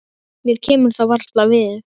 Mér kemur það varla við.